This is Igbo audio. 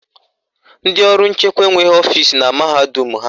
Ndị ọrụ nchekwa enweghị ọfisi na mahadum ha